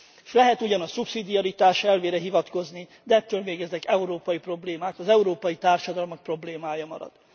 S lehet ugyan a szubszidiaritás elvére hivatkozni, de ettől még ezek európai problémák, az európai társadalmak problémája marad.